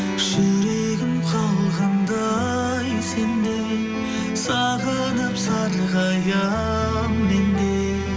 жүрегім қалғандай сен деп сағынып сарғаямын мен де